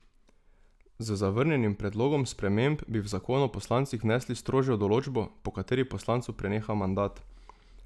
Z zavrnjenim predlogom sprememb bi v zakon o poslancih vnesli strožjo določbo, po kateri poslancu preneha mandat.